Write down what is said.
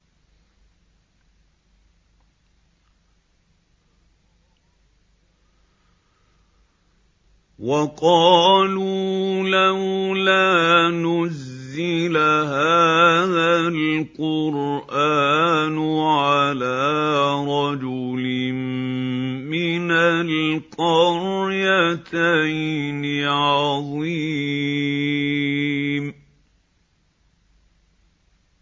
وَقَالُوا لَوْلَا نُزِّلَ هَٰذَا الْقُرْآنُ عَلَىٰ رَجُلٍ مِّنَ الْقَرْيَتَيْنِ عَظِيمٍ